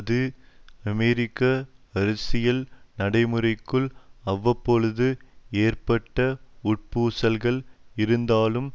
இது அமெரிக்க அரசியல் நடைமுறைக்குள் அவ்வப்பொழுது ஏற்பட்ட உட்பூசல்கள் இருந்தாலும்